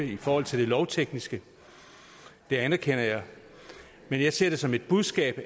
i forhold til det lovtekniske det anerkender jeg men jeg ser det som et budskab